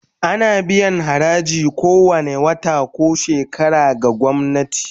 Ana biyan haraji kowane wata ko shekara ga gwamnati